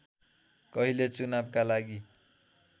कहिले चुनावका लागि